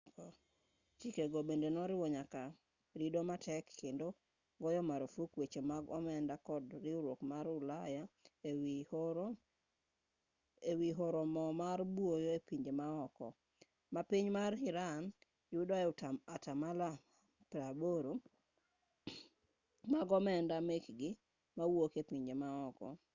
chikego bende noriwo nyaka rido matek kendo goyo marfuk weche mag omenda kod riwruok mar ulaya e wi oro mo ma buo e pinje maoko ma piny mar iran yudoe atamalo 80 mag omenda mekgi mawuok e pinje maoko